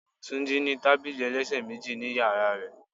Túnjí ní tábìlì ẹlẹ́sẹ̀ méjì ni ìyàrá rẹ̀.